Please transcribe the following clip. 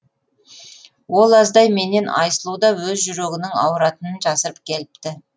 ол аздай менен айсұлу да өз жүрегінің ауыратынын жасырып келіпті